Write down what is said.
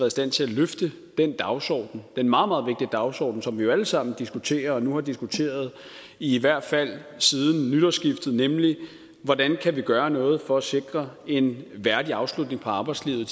i stand til at løfte den dagsorden den meget meget vigtige dagsorden som vi jo alle sammen diskuterer og nu har diskuteret i hvert fald siden nytårsskiftet nemlig hvordan vi kan gøre noget for at sikre en værdig afslutning på arbejdslivet